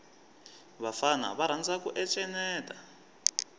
vafana va rhandza ku encenyeta